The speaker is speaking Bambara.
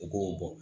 U k'o bɔ